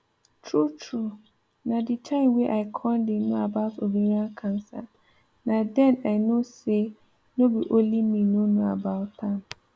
true truena the time wey i con dey no about ovarian cancer na den i know say no be only me no know about am